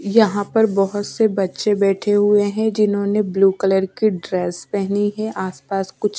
यहाँ पर बहुत से बच्चे बैठे हुए हैं जिन्होंने ब्लू कलर की ड्रेस पहनी है आसपास कुछ--